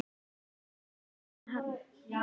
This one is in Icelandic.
Sunna: Var erfitt að finna hann?